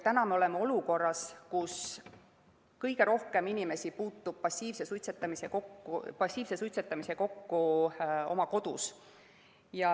Me oleme olukorras, kus kõige rohkem inimesi puutub passiivse suitsetamisega kokku oma kodus.